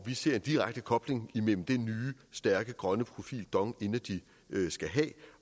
ser en direkte kobling imellem den nye stærke grønne profil dong energy skal have